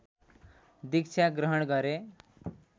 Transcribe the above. दीक्षा ग्रहण गरे